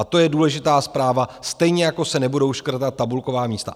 A to je důležitá zpráva, stejně jako se nebudou škrtat tabulková místa.